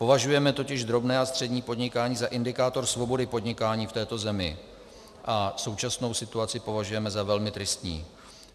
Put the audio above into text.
Považujeme totiž drobné a střední podnikání za indikátor svobody podnikání v této zemi a současnou situaci považujeme za velmi tristní.